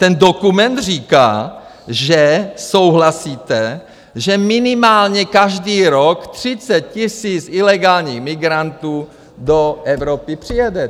Ten dokument říká, že souhlasíte, že minimálně každý rok 30 000 ilegálních migrantů do Evropy přijede.